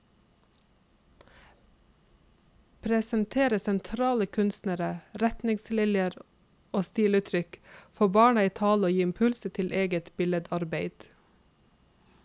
Presentere sentrale kunstnere, retninger og stiluttrykk, få barna i tale og gi impulser til eget billedarbeid.